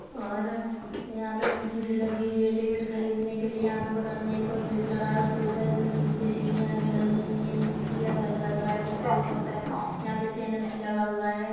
और यहां पे भीड़ लगी हुई है टिकट खरीदने के लिए यहां पर बगल में एक और गेट लगाया है उसके ऊपर नीचे सीढ़िया भी लगी हुई है यह किसी का घर लग रहा है कुछ भी हो सकता है यह पर चैनल भी लगा हुआ है।